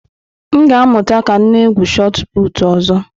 M ga-amụta ka m na-egwu Shot Putụ̀ ọzọ.